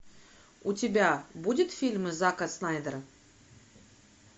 у тебя будет фильмы зака снайдера